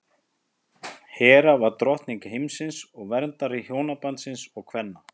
hera var drottning himinsins og verndari hjónabandsins og kvenna